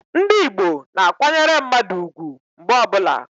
Ndi igbo na-akwanyere mmadu ugwu mgbe ọbula.